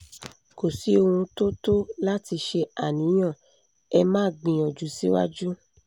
kò sí ohun tó tó láti ṣe àníyàn ẹ máa gbìyànjú síwájú